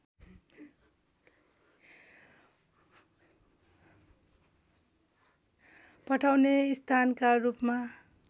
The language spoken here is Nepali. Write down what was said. पठाउने स्थानका रूपमा